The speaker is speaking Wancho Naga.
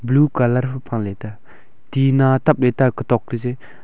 blue colour hupa la tai a tina tapla ta kutok kaje.